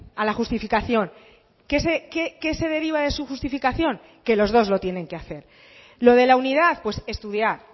a la justificación qué se deriva de su justificación que los dos lo tienen que hacer lo de la unidad pues estudiar